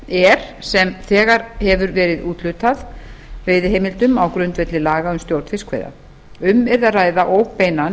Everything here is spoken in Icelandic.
er sem þegar hefur verið úthlutað veiðiheimildum á grundvelli laga um stjórn fiskveiða um yrði að ræða óbeinan